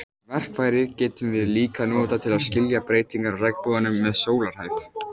Verkfærið getum við líka notað til að skilja breytingar á regnboganum með sólarhæð.